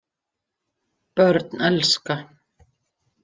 Börn elska.